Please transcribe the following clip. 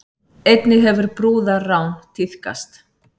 Einnig hefur brúðarrán tíðkast